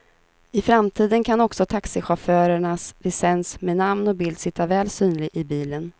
I framtiden kan också taxichaufförernas licens med namn och bild sitta väl synlig i bilen.